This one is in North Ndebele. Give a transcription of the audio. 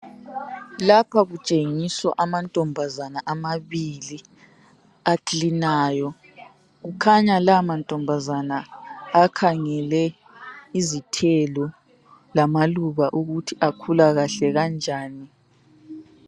Lapha kutshengiswa amantombazana amabili aclinayo kukhanya la amantombazana akhangele izithelo lamaluba ukuthi akhula kahle kanjani